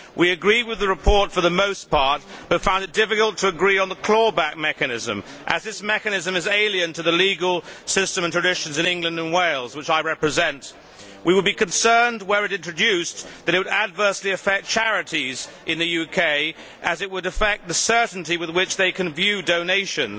We agree with the report for the most part but found it difficult to agree on the clawback mechanism as this mechanism is alien to the legal system and traditions in England and Wales which I represent. We would be concerned, were it introduced, that it would adversely affect charities in the UK as it would affect the certainty with which they can view donations.